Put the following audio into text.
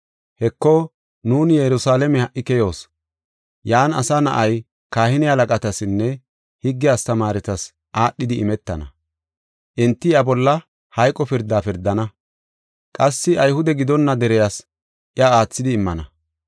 “Heko, nuuni Yerusalaame ha77i keyoos. Yan Asa Na7ay, kahine halaqatasinne higge astamaaretas aadhidi imetana. Enti iya bolla hayqo pirdaa pirdana; qassi Ayhude gidonna deriyas iya aathidi immana.